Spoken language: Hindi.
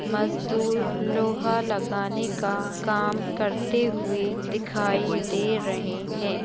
मजदूर लोहा लगाने का काम करते हुए दिखाई दे रहें हैं।